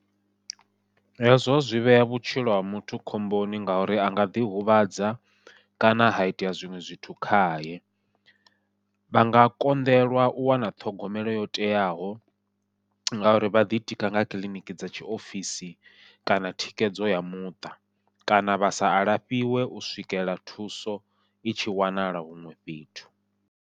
Hezwo zwi vhea vhutshilo ha muthu khomboni ngauri a nga ḓihuvhadza kana ha itea zwiṅwe zwithu khaye, vha nga konḓelwa u wana ṱhogomelo yo teaho ngauri vha ḓitika nga kiḽiniki dza tshiofisi kana thikedzo ya muṱa, kana vha sa alafhiwe u swikela thuso i tshi wanala huṅwe fhethu.